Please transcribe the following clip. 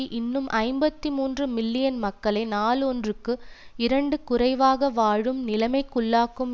இன்னும் ஐம்பத்தி மூன்று மில்லியன் மக்களை நாள் ஒன்றுக்கு இரண்டு குறைவாக வாழும் நிலைமைக்குள்ளாக்கும்